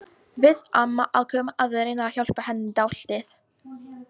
Við mamma ákváðum að reyna að hjálpa henni dálítið.